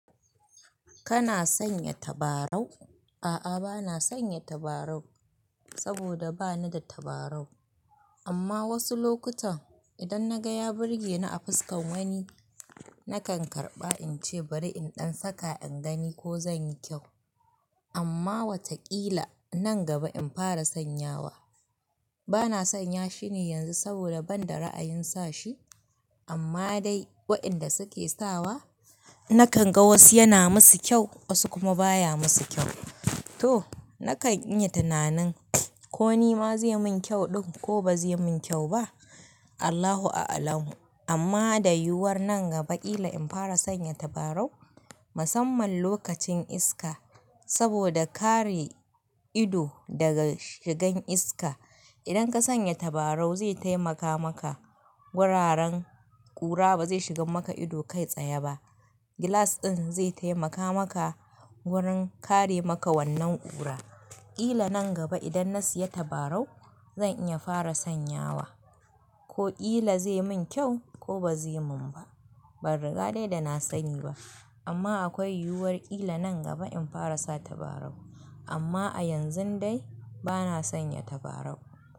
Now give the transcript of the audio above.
Kana sanya tabarau? A'a, bana sanya tabarau saboda bani da tabarau. Amma wasu lokutan idan na ga ya burge ni a fuskan wani, na kan karɓa in ce bari in ɗan saka in gani ko zan yi kyau. Amma watakila nan gaba in fara sanyawa. Bana sanya shi ne yanzu saboda ban da ra'ayin sa shi. Amma dai wainda suke sawa, na kan ga wasu yana musu kyau wasu kuma baya musu kyau. To, na kan iya tunanin ko ni ma zai min kyau ɗin ko ba zai min kyau ba. Allahu a'alam. Amma da yiwuwar nan gaba ƙila in fara sanya tabarau. Musamman lokacin iska saboda kare ido daga shigan iska. Idan ka sanya tabarau zai taimaka maka wuraren ƙura ba zai shigan maka ido kai tsaye ba. Gilas ɗin zai taimaka maka wurin kare maka wannan ƙura. Ƙila nan gaba idan na siya tabarau zan iya fara sanyawa. Ko ƙila zai min kyau ko ba zai min ba. Ban riga dai da na sani ba. Amma akwai yiwuwar ƙila nan gaba in fara sa tabarau. Amma a yanzun dai bana sanya tabarau.